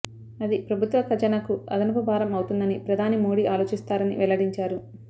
అది ప్రభుత్వ ఖజానాకు అదనపు భారం అవుతుందని ప్రధాని మోడీ ఆలోచిస్తారని వెల్లడించారు